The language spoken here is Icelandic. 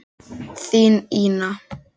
Þín, Ína.